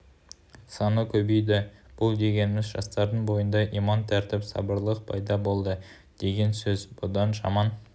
саны көбейді бұл дегеніміз жастардың бойында иман тәртіп сабырлылық пайда болды деген сөз бұдан жаман